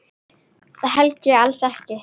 Það held ég alls ekki.